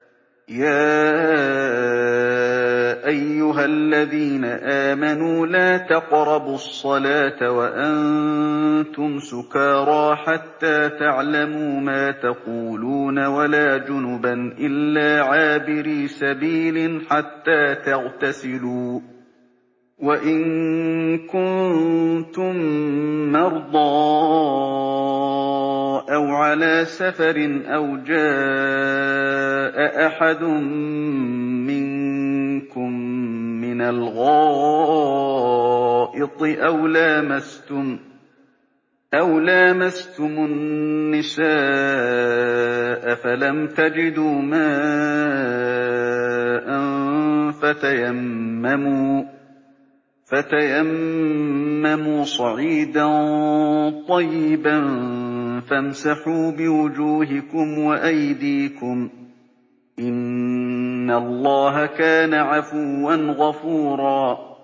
يَا أَيُّهَا الَّذِينَ آمَنُوا لَا تَقْرَبُوا الصَّلَاةَ وَأَنتُمْ سُكَارَىٰ حَتَّىٰ تَعْلَمُوا مَا تَقُولُونَ وَلَا جُنُبًا إِلَّا عَابِرِي سَبِيلٍ حَتَّىٰ تَغْتَسِلُوا ۚ وَإِن كُنتُم مَّرْضَىٰ أَوْ عَلَىٰ سَفَرٍ أَوْ جَاءَ أَحَدٌ مِّنكُم مِّنَ الْغَائِطِ أَوْ لَامَسْتُمُ النِّسَاءَ فَلَمْ تَجِدُوا مَاءً فَتَيَمَّمُوا صَعِيدًا طَيِّبًا فَامْسَحُوا بِوُجُوهِكُمْ وَأَيْدِيكُمْ ۗ إِنَّ اللَّهَ كَانَ عَفُوًّا غَفُورًا